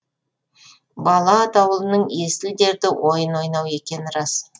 бала атаулының есіл дерті ойын ойнау екені рас